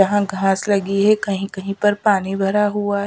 यहां घास लगी है कहीं कहीं पर पानी भरा हुआ--